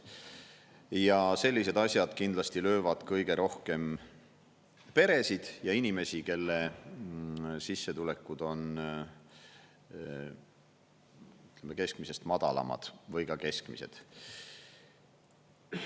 Ja sellised asjad kindlasti löövad kõige rohkem peresid ja inimesi, kelle sissetulekud on keskmisest madalamad või ka keskmised.